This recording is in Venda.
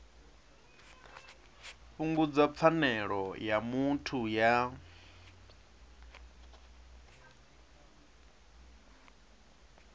fhungudza pfanelo ya muthu ya